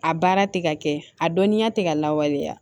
A baara tɛ ka kɛ a dɔnniya tɛ ka lawaleya